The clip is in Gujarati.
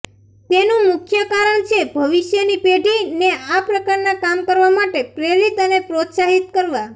તેનું મુખ્ય કારણ છે ભવિષ્યની પેઢીને આ પ્રકારના કામ કરવા માટે પ્રેરિત અને પ્રોસ્તાહિત કરવા